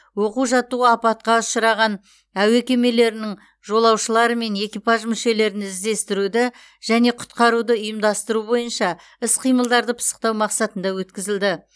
оқу жаттығу апатқа ұшыраған әуе кемелерінің жолаушылары мен экипаж мүшелерін іздестіруді және құтқаруды ұйымдастыру бойынша іс қимылдарды пысықтау мақсатында өткізілді